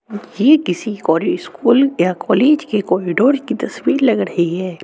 ये किसी कोरी स्कूल या कॉलेज की कॉरिडोर की तस्वीर लग रही है।